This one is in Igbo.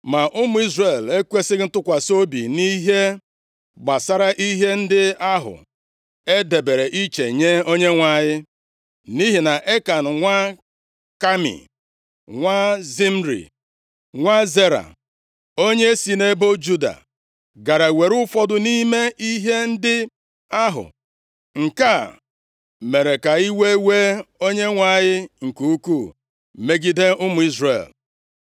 Ma ụmụ Izrel ekwesighị ntụkwasị obi nʼihe gbasara ihe ndị ahụ e debere iche nye Onyenwe anyị. Nʼihi na Ekan nwa Kami, nwa Zimri, + 7:1 Zabdi, dị na nsụgharị Griik nke akwụkwọ nsọ e dere nʼasụsụ Hibru. nwa Zera, onye si nʼebo Juda gara were ụfọdụ nʼime ihe ndị ahụ. Nke a mere ka iwe wee Onyenwe anyị nke ukwuu megide ụmụ Izrel.